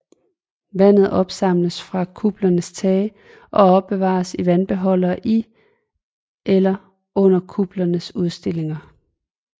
Vandet opsamles fra kuplernes tage og opbevares i vandbeholdere i eller under kuplernes udstillinger